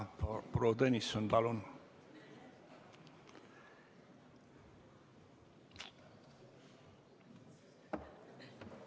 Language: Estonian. Proua Tõnisson, palun!